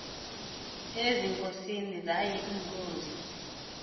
ezinkosini zaye iinkosi